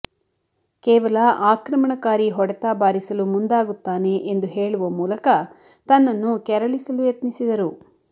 ಕೇವಲ ಆಕ್ರಮಣಕಾರಿ ಹೊಡೆತ ಬಾರಿಸಲು ಮುಂದಾಗುತ್ತಾನೆ ಎಂದು ಹೇಳುವ ಮೂಲಕ ತನ್ನನ್ನು ಕೆರಳಿಸಲು ಯತ್ನಿಸಿದರು